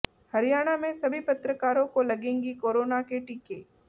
हरियाणा में सभी पत्रकारों को लगेंगी कोरोना के टीके